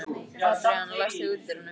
Adrian, læstu útidyrunum.